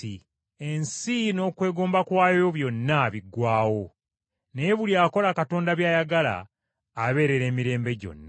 Ensi n’okwegomba kwayo byonna biggwaawo, naye buli akola Katonda by’ayagala abeerera emirembe gyonna.